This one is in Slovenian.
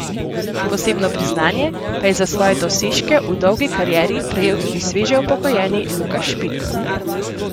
Posebno priznanje pa je za svoje dosežke v dolgi karieri prejel tudi sveže upokojeni Luka Špik.